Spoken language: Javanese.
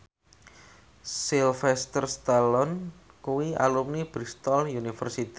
Sylvester Stallone kuwi alumni Bristol university